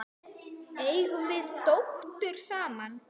Eigum við dóttur saman?